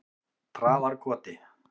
Traðarkoti